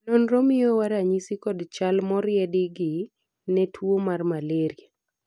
nonro miyowa ranyisi kod chal moriedi gi ne tuo mar malraia